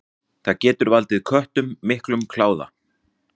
Það getur valdið köttum miklum kláða.